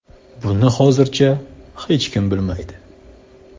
Buni hozircha hech kim bilmaydi.